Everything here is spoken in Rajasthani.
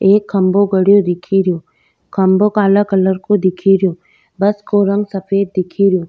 एक खम्भों गड़ेओ दिखेरो खम्भों काला कलर को दिखेरो बस को रंग सफ़ेद दिखे रिहो।